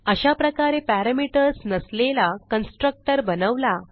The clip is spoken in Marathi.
अशाप्रकारे पॅरामीटर्स नसलेला कन्स्ट्रक्टर बनवला